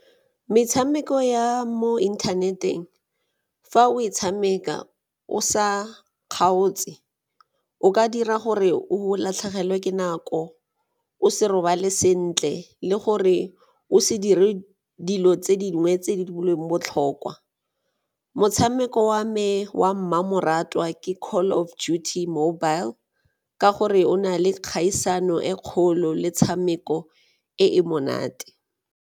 Metshameko ya mo inthaneteng, fa o e tshameka o sa kgaotse o ka dira gore o latlhegelwe ke nako, o se robale sentle le gore o se dire dilo tse dingwe tse di boelweng botlhokwa. Motshameko wa me wa mmamoratwa ke Call of Duty mobile ka gore o na le kgaisano e kgolo le 'tshameko e e monate.